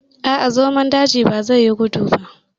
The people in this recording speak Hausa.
A'a, zomon daji bazai yi gudu ba.